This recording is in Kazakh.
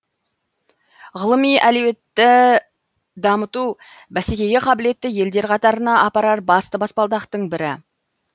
ғылыми әлеуетті дамыту бәсекеге қабілетті елдер қатарына апарар басты баспалдақтың бірі